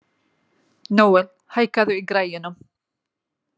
Nóel, hækkaðu í græjunum.